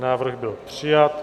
Návrh byl přijat.